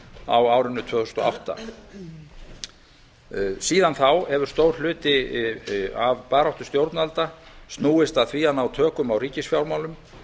á árinu tvö þúsund og átta síðan þá hefur stór hluti af baráttu stjórnvalda snúist að því að ná tökum á ríkisfjármálum